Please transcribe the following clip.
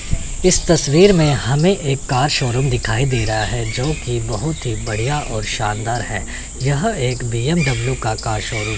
इस तस्वीर में हमें एक कार शोरूम दिखाई दे रहा है जो की बहुत ही बढ़िया और शानदार है यह एक बी_एम_डब्ल्यू का शोरूम --